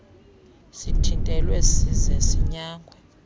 sithintelwe size sinyangwe